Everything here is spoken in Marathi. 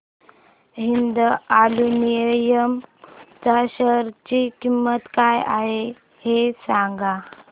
हिंद अॅल्युमिनियम च्या शेअर ची किंमत काय आहे हे सांगा